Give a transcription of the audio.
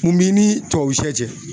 Mun b'i ni tubabusɛ cɛ?